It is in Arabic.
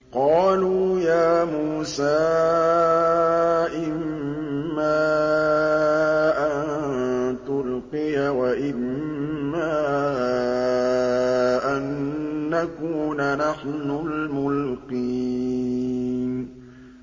قَالُوا يَا مُوسَىٰ إِمَّا أَن تُلْقِيَ وَإِمَّا أَن نَّكُونَ نَحْنُ الْمُلْقِينَ